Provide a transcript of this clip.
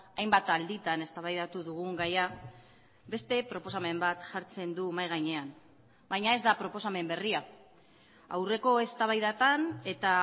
hainbat alditan eztabaidatu dugun gaia beste proposamen bat jartzen du mahai gainean baina ez da proposamen berria aurreko eztabaidatan eta